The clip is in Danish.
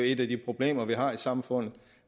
et af de problemer vi har i samfundet